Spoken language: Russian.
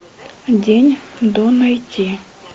день до найти